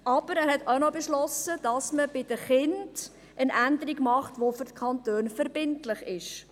Aber der Bundesrat hat eine Änderung bei den Kindern beschlossen, die für die Kantone verbindlich ist.